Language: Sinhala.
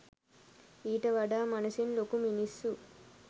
ඊට වඩා මනසින් ලොකු මිනිස්සු